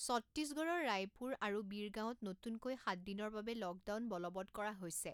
চট্টিশগড়ৰ ৰায়পুৰ আৰু বীৰগাঁৱত নতুনকৈ সাত দিনৰ বাবে লকডাউন বলৱৎ কৰা হৈছে।